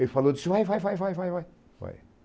Ele falou, disse, vai, vai, vai, vai, vai, vai.